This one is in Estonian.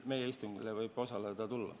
Meie istungile võib osalema tulla.